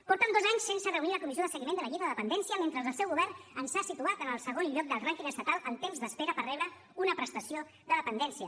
porten dos anys sense reunir la comissió de seguiment de la llei de dependència mentre el seu govern ens ha situat en el segon lloc del rànquing estatal en temps d’espera per rebre una prestació de dependència